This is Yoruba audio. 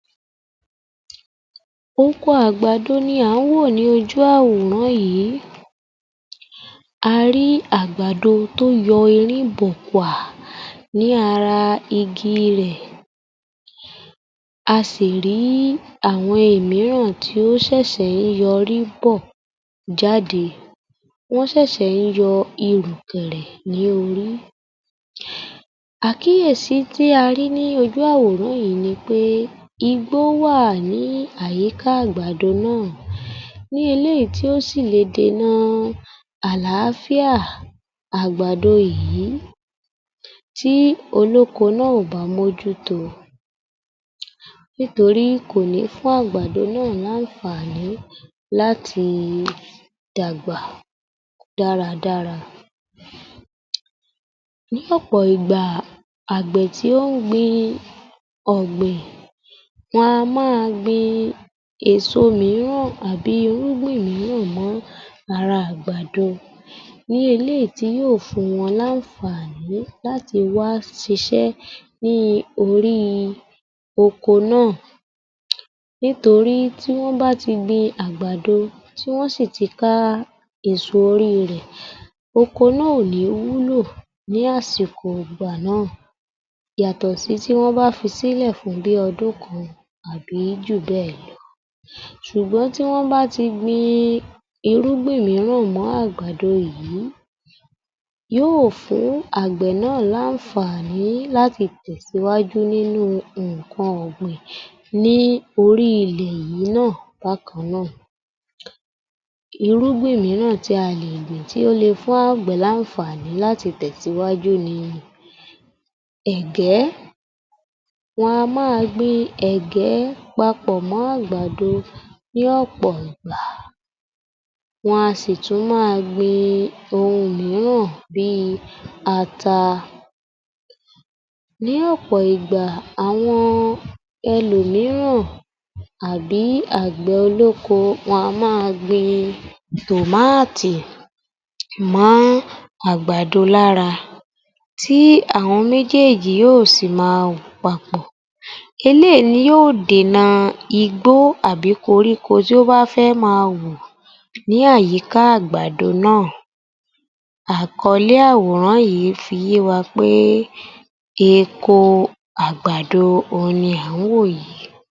24_ yoruba_yor_f_518_AG00008 Oko àgbàdo ni à ń wò ní ojú àwòrán yì í. A rí í àgbàdo tó yọ ọ erín bòòkùà ní ara igi rẹ̀, a sì ì rí í àwọn ìmíràn tó ṣẹ̀sẹ̀ ń y'ọrí bò jáde. Wọ́n ṣẹ̀sẹ̀ ń yọ irùkẹ̀rẹ̀ ní orí. Àkíyèsi tí a rí í ní ojú àwòrán yì í ni pé, igbó wà ní àyíká àgbàdo ná à, ní eléyì í tí ó sì le dèna àlááfíà àgbàdo yì í tí olóko ná à ò bá m'ójú tó o. Nítorí kò ní fún àgbàdo ná à l'áǹfààní láti dàgbà dáradára. um Ní ọ̀pọ̀ ìgbà, àgbẹ̀ tí ó ń gbìn-in ọ̀gbìn wọn a má a gbìn èso míràn àbí irúgbìn mọ́ ara àgbàdo. Ní eléyì í tí yó ò fún wọn l'áǹfààní láti wá ṣ'isẹ́ ní orí i oko ná à. Nítorí tí wọ́n bá ti gbin-in àgbàdo tí wọ́n sì ti ká á èso orí re, oko ná à ò ní wúlò ní àsìkò ìgbà ná à, yàtọ̀ tí wòn bá fi sílẹ̀ fún bí i odún kan àbí jù bẹ́ ẹ̀ lọ. Ṣùgbọ́n tí wọ́n bá ti i gbin-in irúgbìn míràn mọ́ àgbàdo yí ì. Yó ò fún àgbẹ̀ ná à l'áńfààní láti tẹ̀síwájú nínu ǹǹkan ọ̀gbìn ní orí ilẹ̀ yì í ná à bákaná à. Irúgbìn míràn tí a lè gbìn tí ó le fún àgbẹ̀ l'áńfààní láti tẹ̀síwájú ni ẹ̀gẹ́. Wọn a má a gbìn ẹ̀gẹ́ papọ̀ mọ́ àgbàdo ní ọ̀pọ̀ ìgbà. Wọn a sì tún má a gbìn-in ohun míràn bí i ata. Ní ọ̀pọ̀ ìgbà, àwọn elòmíràn àbí àgbẹ̀ olóko wọn a má a gbìn-in tòmáátì mọ́ àgbàdo lára tí àwọn méjééjì yó ò sì ì má a wù papọ̀. Eléyìí ni yó ò dènà igbó àbí koríko tó bá fẹ́ ẹ́ má a wù ní àyíká àgbàdo ná a. Àkọlẹ́ àworán yì í fi yé wa pé, eko àgbàdo òun ni à ń wò yì í.